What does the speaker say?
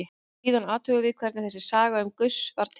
Síðan athugum við hvernig þessi saga um Gauss varð til.